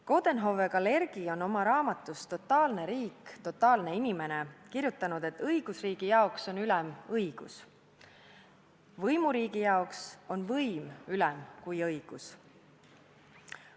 Coudenhove-Kalergi on oma raamatus "Totaalne riik – totaalne inimene" kirjutanud, et õigusriigi jaoks on õigus ülem kui võim – võimuriigi jaoks on võim ülem kui õigus.